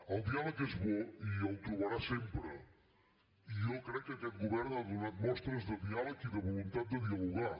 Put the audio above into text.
el diàleg és bo i el trobarà sempre i jo crec que aquest govern ha donat mostres de diàleg i de voluntat de dialogar